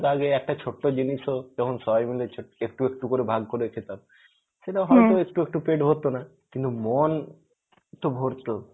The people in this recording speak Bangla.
আগে একটা ছোট্ট জিনিস ও যেমন সবাই মিলে ছো~ একটু একটু ভাগ করে খেতাম সেটা হয়তো একটু একটু পেট ভরতো না, কিন্তু মন তো ভরতো